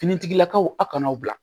Finitigilakaw a kana aw bila